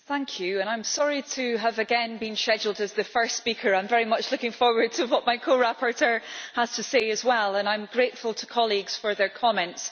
Mr President, I am sorry to have again been scheduled as the first speaker. I am very much looking forward to what my co rapporteur has to say as well, and I am grateful to colleagues for their comments.